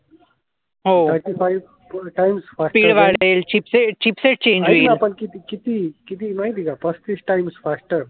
पण किती, किती माहिती आहे का पस्तीस टाईम फास्टर.